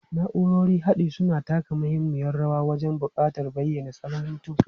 Na'urorin haɗi suna taka muhimmiyar rawa wajen haɓaka bayanin salon mutum.